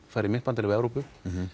fara í myntbandalag við Evrópu